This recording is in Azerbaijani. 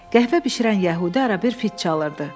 Qəhvə bişirən yəhudi ara-bir fit çalırdı.